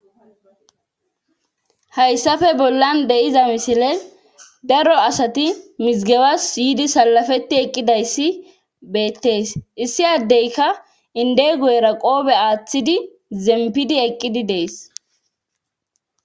Hayssafe bollan de7iza misile daro asati mizigebassi yidi salafeti eqqidayssi beettees issi addeyka inde goyra qoobe aaththidi zempidi eqqidi dees.